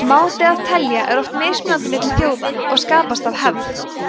máti að telja er oft mismunandi milli þjóða og skapast af hefð